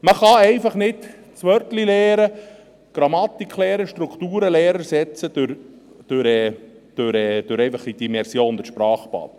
Man kann einfach nicht das Wörtleinlernen, das Grammatiklernen, das Strukturenlernen durch die Immersion, dieses Sprachbad, ersetzen.